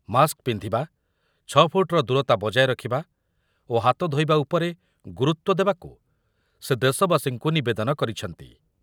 Mask ପିନ୍ଧିବା, ଛଅ ଫୁଟର ଦୂରତା ବଜାୟ ରଖିବା ଓ ହାତ ଧୋଇବା ଉପରେ ଗୁରୁତ୍ବ ଦେବାକୁ ସେ ଦେଶବାସୀଙ୍କୁ ନିବେଦନ କରିଛନ୍ତି ।